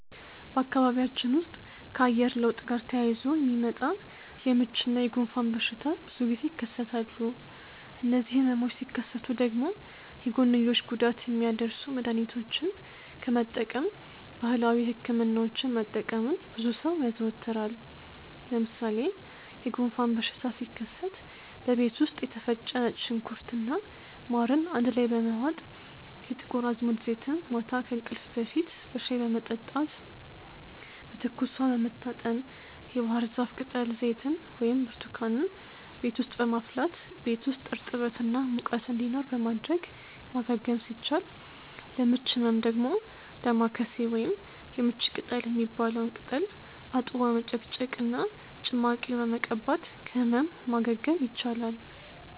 በአካባቢያችን ውስጥ ከአየር ለውጥ ጋር ተያይዞ የሚመጣ የምች እና የጉንፋን በሽታ ብዙ ጊዜ ይከሰታሉ። እነዚህ ህመሞች ሲከሰቱ ደግሞ የጎንዮሽ ጉዳት የሚያደርሱ መድሀኒቶችን ከመጠቀም ባህላዊ ህክምናዎችን መጠቀምን ብዙ ሰው ያዘወትራል። ለምሳሌ የጉንፋን በሽታ ሲከሰት በቤት ውስጥ የተፈጨ ነጭ ሽንኩርት እና ማርን አንድ ላይ በመዋጥ፣ የጥቁር አዝሙድ ዘይትን ማታ ከእንቅልፍ በፊት በሻይ በመጠጣት፣ በትኩስ ውሃ በመታጠን፣ የባህርዛፍ ቅጠል ዘይትን ወይም ብርቱካንን ቤት ውስጥ በማፍላት ቤት ውስጥ እርጥበት እና ሙቀት እንዲኖር በማድረግ ማገገም ሲቻል፤ ለምች ህመም ደግሞ ዳማከሴ ወይም የምች ቅጠል የሚባለውን ቅጠል አጥቦ በመጭመቅ እና ጭማቂውን በመቀባት ከህመም ማገገም ይቻላል።